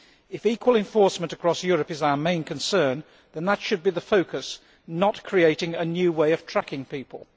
If equal enforcement across Europe is our main concern, then that should be the focus, not creating a new way of tracking people.